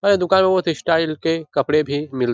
ए दुकान में बहुत ही स्टाइल के कपड़े भी मिल --